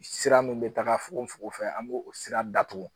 Sira min bɛ taga fokofoko fɛ an b'o o sira datugu